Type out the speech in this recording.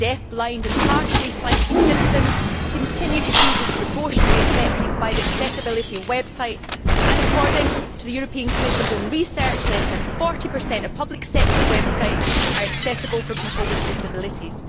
Deaf, blind and partially sighted citizens continue to be disproportionately affected by the accessibility of websites and, according to the Commission's own research, less than 40 of public sector websites are accessible for people with disabilities.